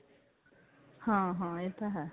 ਹਾਂ ਹਾਂ ਇਹ ਤਾਂ ਹੈ